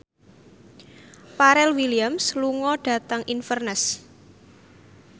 Pharrell Williams lunga dhateng Inverness